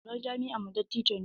Shugaban jami'armu dattijo ne.